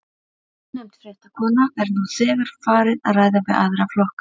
Ónefnd fréttakona: Er nú þegar farið að ræða við aðra flokka?